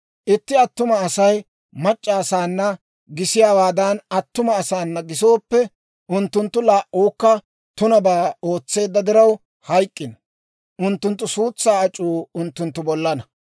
« ‹Itti attuma Asay mac'c'a asaana gisiyaawaadan attuma asaana gisooppe, unttunttu laa"uukka tunabaa ootseedda diraw hayk'k'ino. Unttunttu suutsaa ac'uu unttunttu bollana.